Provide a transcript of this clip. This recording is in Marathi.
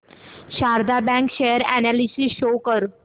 Sharda bank share analysis show कर